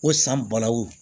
Ko san balawu